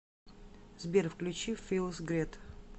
сбер включи филс грет